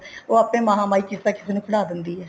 ਉਹ ਆਪੇ ਮਹਾ ਮਾਈ ਕਿਸੇ ਨਾ ਕਿਸੇ ਨੂੰ ਖੜਾ ਦਿੰਦੀ ਹੈ